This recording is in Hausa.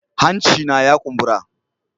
Hancina ya kumbura.